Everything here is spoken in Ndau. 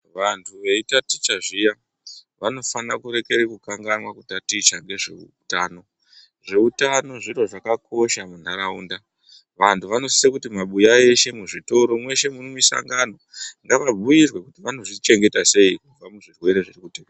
Vantu vei taticha zviya vano fanirwe kurekera ku taticha nezve utano zveutano zviro zvaka kosha mu ntaraunda vantu vano sise kuti mabuya eshe mu zvitoro meshe mu misangano ngava bhuyirwe kuti vano zvichengeta sei kubva ku zvirwere zviri kutekeshera.